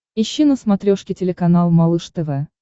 ищи на смотрешке телеканал малыш тв